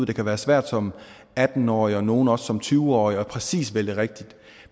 det kan være svært som atten årig og for nogle også som tyve årig præcis at vælge rigtigt